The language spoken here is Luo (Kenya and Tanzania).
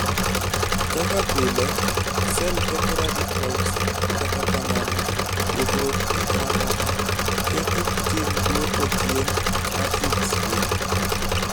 kaka pile, sel ketho radicals kata kamano pogruok jin mamoko ketho tim duoko chien asids gi